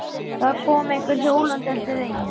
Það kom einhver hjólandi eftir veginum.